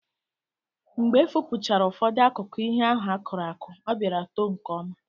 Mgbe efopụchara ụfọdụ akụkụ ihe ahụ akụrụ akụ, ọ bịara too nke ọma.